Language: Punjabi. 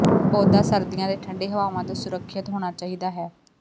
ਪੌਦਾ ਸਰਦੀਆਂ ਦੇ ਠੰਡੇ ਹਵਾਵਾਂ ਤੋਂ ਸੁਰੱਖਿਅਤ ਹੋਣਾ ਚਾਹੀਦਾ ਹੈ